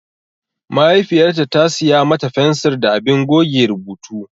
Mahaifiyarta ta siya mata fensir da abin goge rubutu.